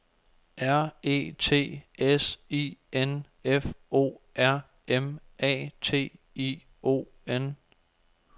R E T S I N F O R M A T I O N